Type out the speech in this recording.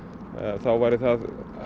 þá væri það